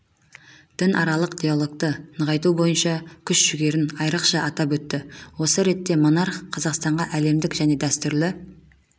дінаралық диалогты нығайту бойынша күш-жүгерін айрықша атап өтті осы ретте монарх қазақстанға әлемдік және дәстүрлі